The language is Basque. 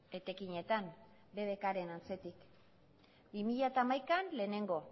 etekinetan bbkren atzetik bi mila hamaikan lehenengo